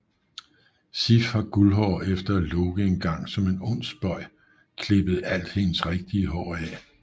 Sif har guldhår efter at Loke engang som en ond spøg klippede alt hendes rigtige hår af